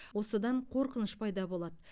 осыдан қорқыныш пайда болады